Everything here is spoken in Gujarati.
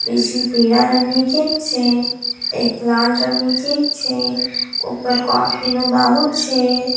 નીચે પીળા રંગની કેક છે એક લાલ રંગની કેક છે ઉપર કોફી નો બાઉલ છે.